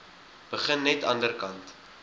begin net anderkant